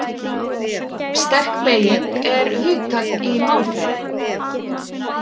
Sterk beyging er hugtak í málfræði.